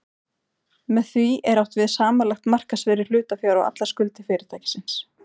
Með því er átt við samanlagt markaðsvirði hlutafjár og allar skuldir fyrirtækisins.